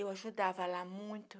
Eu ajudava lá muito.